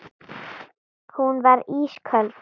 Hún varð ísköld.